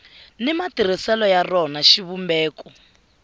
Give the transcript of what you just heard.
ni matirhiselo ya rona xivumbeko